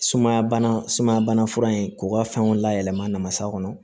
Sumaya bana sumaya bana fura in k'u ka fɛnw layɛlɛma na masa kɔnɔ